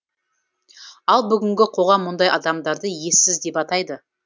ал бүгінгі қоғам мұндай адамдарды ессіз деп атайды